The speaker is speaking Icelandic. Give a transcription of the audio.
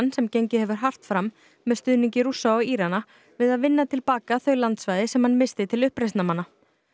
sem gengið hefur hart fram með stuðningi Rússa og Írana við að vinna til baka þau landsvæði sem hann missti til uppreisnarmanna